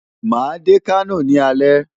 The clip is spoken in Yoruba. Màá dé Kano ní alẹ́.